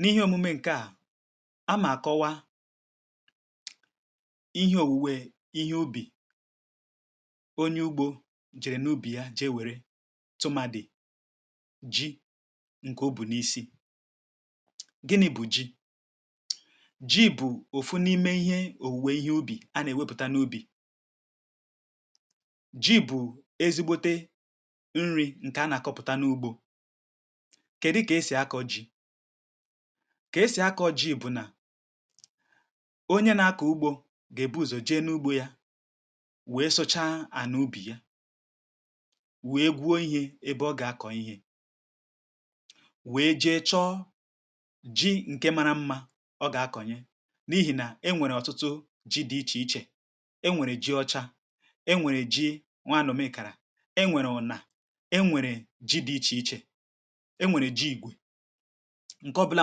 N’ihe òmume ǹke à, a mà àkọwa ihe òwùwè ihe ubì, um onye ugbȯ jìrì n’ubì yà jee wère, tụmadị̀ ji ǹkè ubì n’isi. Gịnị̇ bụ̀ ji? Ji bụ̀ òfù n’ime ihe òwùwè ihe ubì, um a nà-èwepùta n’ubì. Ji bụ̀ ezigbote nri̇ ǹkè a nà-àkọpụ̀ta n’ugbȯ. Kèdu kà e sì akọ̇ ji? Kà e sì akọ̇ ji bụ̀ nà onye nà-akọ̀ ugbȯ gà-èbuzò jee n’ugbȯ yà, wèe sụcha ànà ubì yà, wèe gwuo ihe ebe ọ gà-akọ̀ ihe, wèe jee chọ̀ ji ǹkè màrà mmȧ ọ gà-akọ̀nye. N’ihì nà e nwèrè ọ̀tụtụ ji dị̇ ichè ichè — e nwèrè ji ọcha, e nwèrè ji nwàànụ̀ mekàrà, e nwèrè ụ̀nà, e nwèrè ji dị̇ ichè ichè ǹkè ọbụla.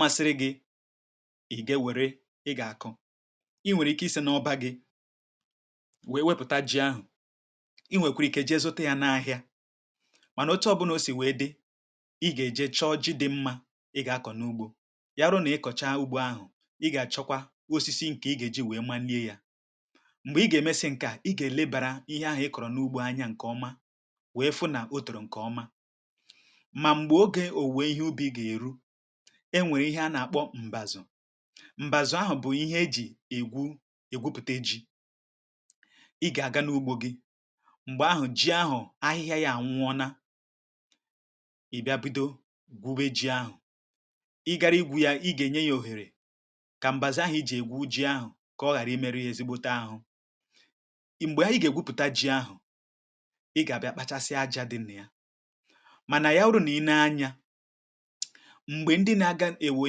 Masịrị gị̇, um i gè wère, i gà-àkọ. Ị nwèrè ike isi n’ọba gị̇ wèe wepụta ji ahụ̀; i nwèkwara ike ji ezute yà n’ahịa. Mànà, um oche ọbụla o si wèe dị, i gà-èje chọọ ji dị mmȧ, i gà-akọ̀ n’ugbȯ yà. Rụ nà i kọ̀cha ugbȯ ahụ̀, i gà-àchọkwa osisi ǹkè i gà-èji, wèe manie yà. M̀gbè i gà-èmesi ǹkè à, i gà-èlebàrà ihe ahụ̀ i kọ̀rọ̀ n’ugbȯ anya ǹkèọma, wèe fụ̀ nà ọ tòrò ǹkèọma. E nwèrè ihe a nà-àkpọ m̀bàzò. M̀bàzò ahụ̀ bụ̀ ihe e jì ègwu, um ègwupùte ji. I gà-aga n’ugbȯ gị, m̀gbè ahụ̀ ji ahụ̀ ahịhịa yà ànwụ̀ ònā.I bịa bido gwuo ji ahụ̀, i gara igwu yà, i gà-enye yà òhèrè, kà m̀bàzò ahụ̀ i jì ègwu ji ahụ̀, kà ọ ghàrà ime ihe ezigbote ahụ i m̀gbè yà. Ị gà-ègwupùte ji ahụ̀, i gà-àbịa kpachasịa aja dị̇ nà yà mànà yà ụdụ̇. um Nà i nēe anyȧ, m̀gbè ndị nà-aga ewè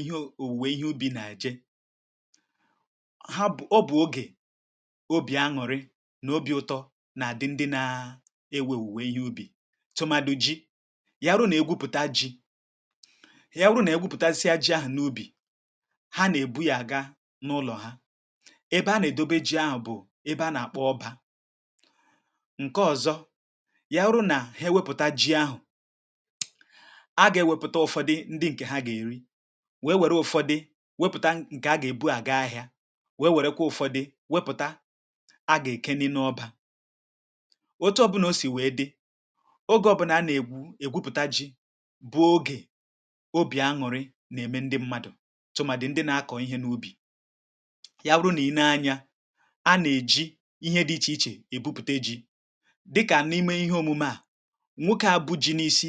ihe òwùwè ihe ubì nà-àje, hà bụ̀ ọbụ̀ ogè obì aṅụ̀rị nà obìụ̇tọ̇ nà-àdị. Ndị nà-ewè òwùwè ihe ubì, tụmàdị̀ ji, yà rù nà-ègwupùta ji, yà rù nà-ègwupùta ji ahụ̀ n’ubì hà, nà-èbu yà àga n’ụlọ̀ hà, ebe a nà-èdobe ji ahụ̀. um Bụ̀ ebe a nà-àkpọ ọbȧ. Ǹkè ọ̀zọ yà rù nà, hè wepụta ji ahụ̀, nwèe wèe wère ụ̀fọdị̀ wepụ̀ta ǹkè a gà-èbu, à ga-ahịȧ; nwèe wèe wèrekwa ụ̀fọdị̀ wepụ̀ta, a gà-èke n’ọbȧ. Otu ọbụla o sì wèe dị, ogè ọbụnà a nà-ègwu ègwupùta ji, bụọ ogè obì aṅụ̀rị, nà-ème ndị mmadụ̀, tụmàdị̀ ndị nà-akọ̀ ihe n’ubì. Yà bụ̀ nà ì nēe anyȧ, a nà-èji ihe dị̇ ichè ichè èbupùte ji, dịkà n’ime ihe òmume à. um Nwokė à bụ̀ ji n’isi,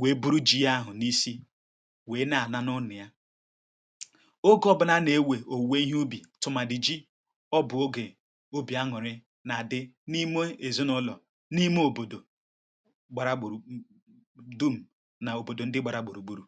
wèe buru ji yà ahụ̀ n’isi, wèe nà-àna n’ọna yà oke, ọ̀bụna nà-ewe òwùwè ihe ubì tụmàdị̀ ji. Ọ bụ̀ ogè obì aṅụ̀rị nà-àdị n’ime èzinụ̇lọ̀, n’ime òbòdò gbàrà gbùrù dum, nà òbòdò ndị gbàrà gbùrù gbùrù.